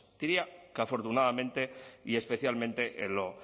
diría que afortunadamente y especialmente en lo